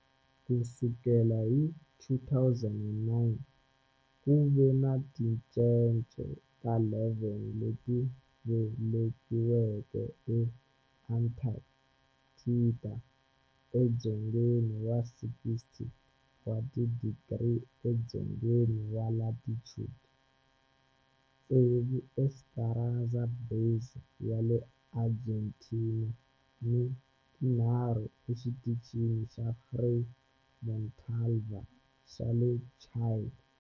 Ku sukela hi 2009, ku ve ni tincece ta 11 leti velekiweke eAntarctica, edzongeni wa 60 wa tidigri edzongeni wa latitude, tsevu eEsperanza Base ya le Argentina ni tinharhu eXitichini xa Frei Montalva xa le Chile.